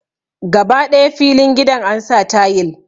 Gaba ɗaya filin gidan ansa tayil